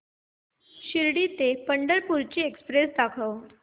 शिर्डी ते पंढरपूर ची एक्स्प्रेस दाखव